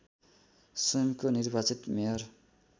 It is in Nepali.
स्वयंको निर्वाचित मेयर